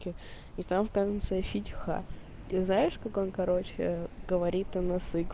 и там в конце фильма ты знаешь как он короче говорит она